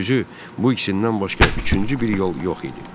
Düzü, bu ikisindən başqa üçüncü bir yol yox idi.